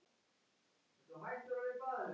En eitt var á hreinu.